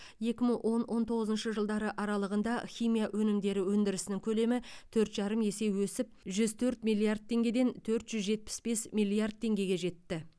екі мың он он тоғызыншы жылдары аралығында химия өнімдері өндірісінің көлемі төрт жарым есе өсіп жүз төрт миллиард теңгеден төрт жүз жетпіс бес миллиард теңгеге жетті